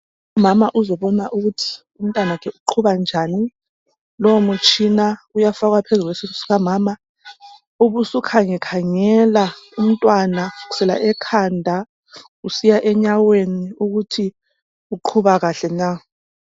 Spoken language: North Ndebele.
Umama uzobona ukuthi umntanakhe uqhuba njani lowo mutshina uyafakwa phezu kwe esiswini sika mama ubusukhange khangela kusukela ekhanda kusiya enyaweni ukuthi umntwana uqhuba kuhle na